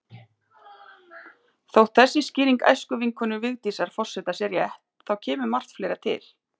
Þótt þessi skýring æskuvinkonu Vigdísar forseta sé rétt, þá kemur margt fleira til.